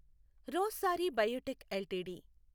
Rossari Biotech LTD